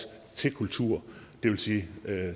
til kultur det vil sige